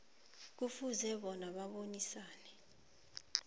kufuze bona abonisane